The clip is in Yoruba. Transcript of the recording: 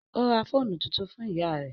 Ó ra fóònù tuntun fún ìyá rẹ́